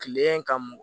Kile ka mɔ